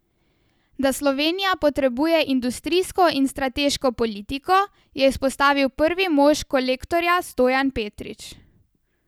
Da Slovenija potrebuje industrijsko in strateško politiko, je izpostavil prvi mož Kolektorja Stojan Petrič.